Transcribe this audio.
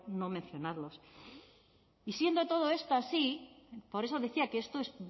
no mencionarlos y siendo esto así por eso decía que esto es